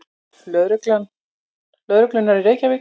Lögreglunnar í Reykjavík.